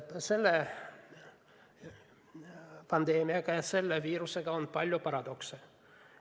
Selle pandeemia ja viirusega on seotud palju paradokse.